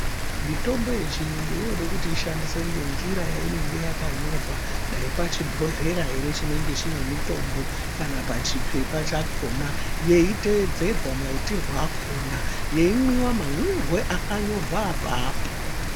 Mitombo yechiyungu inode kuti ishandiswe ngenjira yatinenge yakanyorwa dai pachibhodhlera ere chinenge chine mutombo kana pachiphepha chakhona yaiteedzerwa maitirwe akhona yemwiwa mamwirwe akanyorwa apapo.